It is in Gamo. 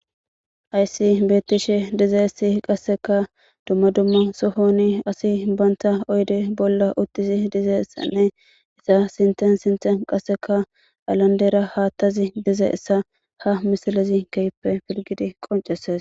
ayssi beettishe dizeessi qasseka dumma dumma sohoni asi banta oyde bolla utisi dize ssanne isa sinten sinte qasseka alandera haattazi dize essa ha misilezi keyippe pirgidi qonceses